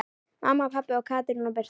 Mamma, pabbi og Katrín Birta.